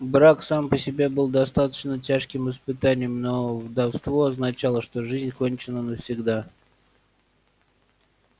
брак сам по себе был достаточно тяжким испытанием но вдовство означало что жизнь кончена навсегда